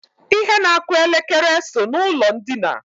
Ihe na-akụ elekere so n'ụlọ ndina